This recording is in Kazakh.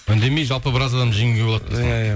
үндемей жалпы біраз адамды жеңуге болады